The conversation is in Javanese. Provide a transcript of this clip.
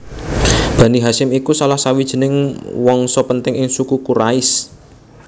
Bani Hasyim iku salah sawijining wangsa penting ing Suku Quraisy